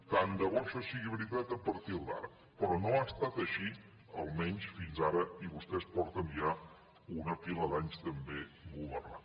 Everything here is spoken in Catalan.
tant de bo això sigui veritat a partir d’ara però no ha estat així almenys fins ara i vostès fa ja una pila d’anys també que governen